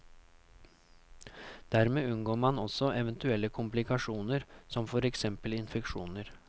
Dermed unngår man også eventuelle komplikasjoner, som for eksempel infeksjoner.